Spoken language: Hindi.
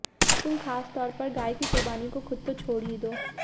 तुम ख़ास तौर पर गाय की क़ुर्बानी को खुद तो छोड़ ही दो